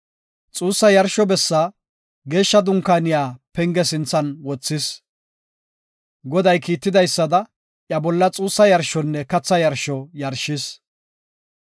Xuugetiya yarsho bessi, Geeshsha Dunkaaniya penge sinthan wothis. Goday kiitidaysada, iya bolla xuussa yarshonne katha yarsho yarshis.